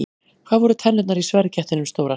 Hvað voru tennurnar í sverðkettinum stórar?